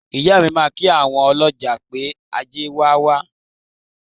Ìyá mi máa kí àwon ọlọ́jà pé, “ajé á wá”.